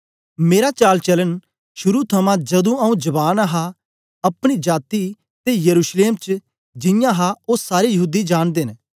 मेरा चालचालन शुरू थमां जदूं आंऊँ जवान हा अपनी जाती ते यरूशलेम च जियां हा ओ सारे यहूदी जांनदे न